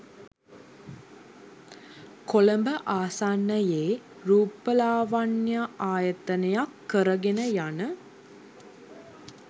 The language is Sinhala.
කොළඹ ආසන්නයේ රූපලාවණ්‍යායතනයක් කරගෙන යන